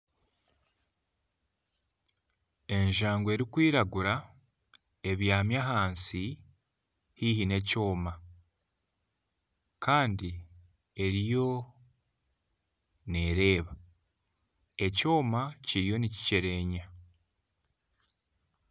Enjangu erikwiragura ebyami ahansi haihi n'ekyoma. Kandi eriyo nereeba. Ekyoma kiriyo nikikyerenya.